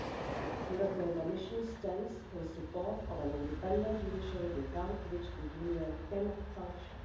The European Commission stands in support of an independent judiciary, without which the Union cannot function.